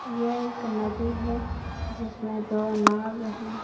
यह एक नदी है जिसमें दो नाव है।